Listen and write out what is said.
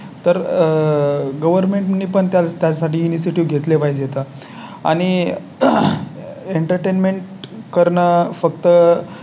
तर आह Government नी पण त्याच्या साठी इंस्टीट्यूट घेतले पाहिजेत आणि Entertainment करणं फक्त